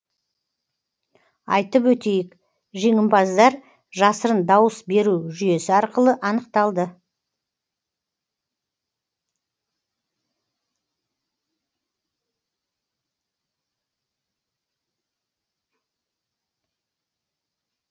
айтып өтейік жеңімпаздар жасырын дауыс беру жүйесі арқылы анықталды